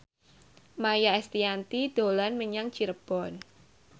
Maia Estianty dolan menyang Cirebon